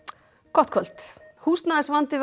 gott kvöld húsnæðisvandi